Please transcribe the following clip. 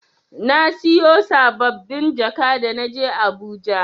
Na siyo saɓɓabin jaka da na je Abuja.